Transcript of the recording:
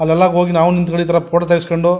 ಅಲ್ಲೆಲ್ಲ ಹೋಗಿ ನಾವು ನಿಂಥಕಂಡಿದ್ರಾ ಫೋಟೋ ತೆಗಿಸ್ಕೊಂಡು --